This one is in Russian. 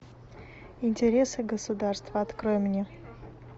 интересы государства открой мне